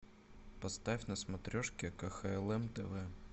поставь на смотрешке кхлм тв